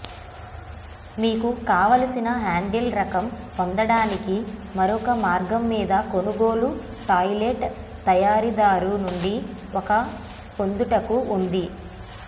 మీకు కావలసిన హ్యాండిల్ రకం పొందడానికి మరొక మార్గం మీరు కొనుగోలు టాయిలెట్ తయారీదారు నుండి ఒక పొందుటకు ఉంది